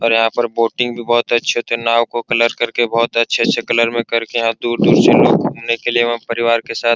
और यहाँ पर बोटिंग भी बहुत अच्छे से नाव को कलर करके बहुत अच्छे-अच्छे कलर में करके यहाँ दूर-दूर से लोग घूमने के लिए एवं परिवार के साथ --